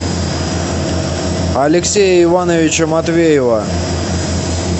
алексея ивановича матвеева